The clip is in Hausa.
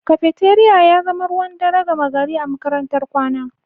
Cafeteria ya zama ruwan dare gama gari a makarantar kwana